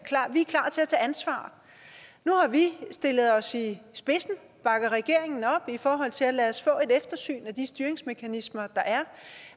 ansvar nu har vi stillet os i spidsen og bakker regeringen op i forhold til at lade os få et eftersyn af de styringsmekanismer der er